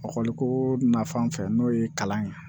Ekɔli nafan fɛ n'o ye kalan ye